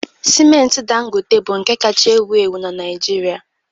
Sịmenti Dangote bụ nke kacha ewu ewu na Naịjirịa